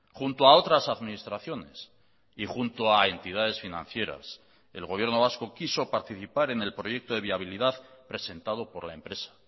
junto a otras administraciones y junto a entidades financieras el gobierno vasco quiso participar en el proyecto de viabilidad presentado por la empresa